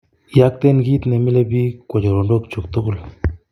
Iyokten kiit neimile pik kwo choronok kyug tugul